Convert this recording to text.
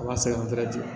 A ma se an